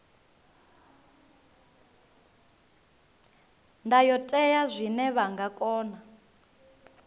ndayotewa zwine vha nga kona